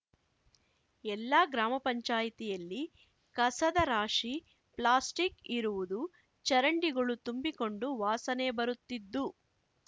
ಎಲ್ಲಾ ಗ್ರಾಮ ಪಂಚಾಯತಿಯಲ್ಲಿ ಕಸದ ರಾಶಿ ಪ್ಲಾಸ್ಟಿಕ್‌ ಇರುವುದು ಚರಂಡಿಗಳು ತುಂಬಿಕೊಂಡು ವಾಸನೆ ಬರುತ್ತಿದ್ದು